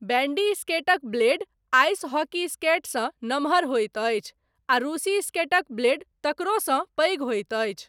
Bandy स्केटक blade, ice hockey स्केटसँ, नमहर होइत अछि आ रूसी स्केटक ब्लेड, तकरोसँ पैघ होइत अछि।